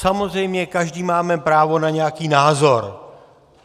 Samozřejmě každý máme právo na nějaký názor.